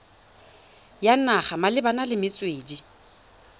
ya naga malebana le metswedi